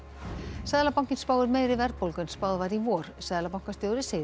seðlabankinn spáir meiri verðbólgu en spáð var í vor seðlabankastjóri segir